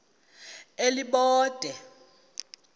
elibode